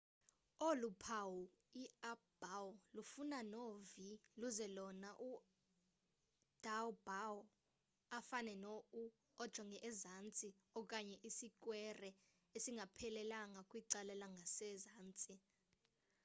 olu phawu i-up bow lufana no-v luze lona u-down bow afane no-u ojonge ezantsi okanye isikwere isingaphelelanga kwicala langasezantsi